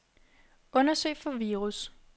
Undersøg for virus.